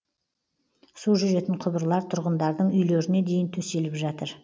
су жүретін құбырлар тұрғындардың үйлеріне дейін төселіп жатыр